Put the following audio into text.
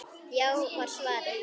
Já var svarið.